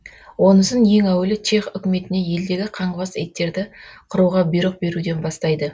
онысын ең әуелі чех үкіметіне елдегі қаңғыбас иттерді қыруға бұйрық беруден бастайды